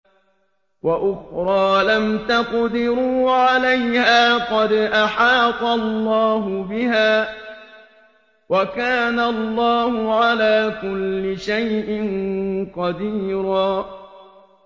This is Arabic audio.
وَأُخْرَىٰ لَمْ تَقْدِرُوا عَلَيْهَا قَدْ أَحَاطَ اللَّهُ بِهَا ۚ وَكَانَ اللَّهُ عَلَىٰ كُلِّ شَيْءٍ قَدِيرًا